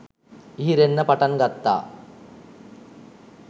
ඉහිරෙන්න පටන් ගත්තා.